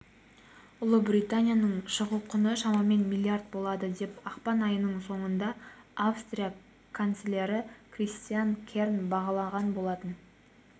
ұлыбританиының шығу құны шамамен миллиард болады деп ақпан айының соңында австрия канцлері кристиан керн бағалаған болатын